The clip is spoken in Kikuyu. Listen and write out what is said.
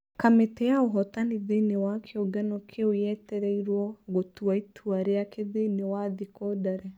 Kamĩtĩ ya ũhotani thĩini wa kiũngano kĩu yetereirwo gũtua itua rĩake thĩini wa thikũ ndare.